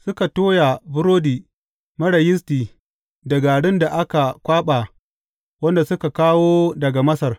Suka toya burodi marar yisti da garin da aka kwaɓa wanda suka kawo daga Masar.